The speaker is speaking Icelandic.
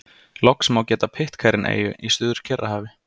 Loks má geta Pitcairn-eyju í Suður-Kyrrahafi.